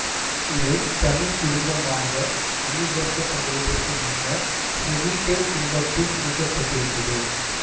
இவை தனிக் குடும்பமாக அங்கீகரிக்கப்படுவதற்கு முன்னர் செபிடே குடும்பத்தில் இணைக்கப்பட்டிருந்தது